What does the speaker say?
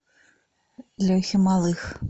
лехе малых